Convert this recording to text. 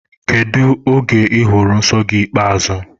Kedụ oge I hụrụ nsọ gị ikpeazụ?